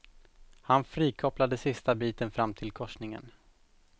Han frikopplade sista biten fram till korsningen.